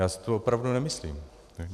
Já si to opravdu nemyslím.